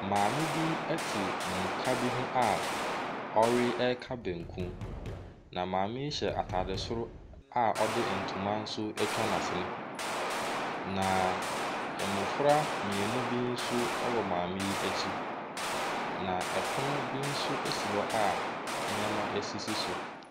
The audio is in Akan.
Maame bi te mmuka bi ho a ɔreka banku, na maame yi hyɛ atade soro a ɔde ntoma nso atwa n'asene, na mmɔfra mmienu bi nso wɔ maame yi akyi, na pono bi nso si hɔ a nneɛma sisi so.